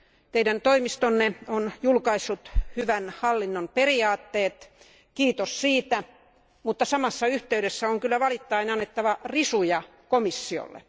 Teidän toimistonne on julkaissut hyvän hallinnon periaatteet, kiitos siitä, mutta samassa yhteydessä on kyllä valittaen annettava risuja komissiolle.